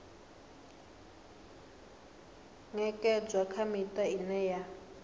ṅekedzwa kha miṱa ine ya